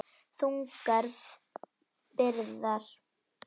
Þungar byrðar.